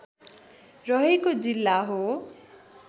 रहेको जिल्ला हो